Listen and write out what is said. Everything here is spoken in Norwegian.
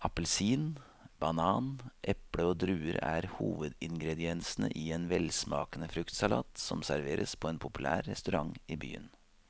Appelsin, banan, eple og druer er hovedingredienser i en velsmakende fruktsalat som serveres på en populær restaurant i byen.